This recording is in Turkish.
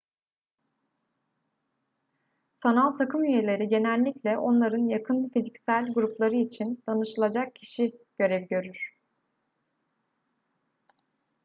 sanal takım üyeleri genellikle onların yakın fiziksel grupları için danışılacak kişi görevi görür